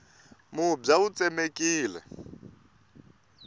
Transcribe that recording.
mubya wu tsemekile